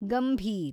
Gambhir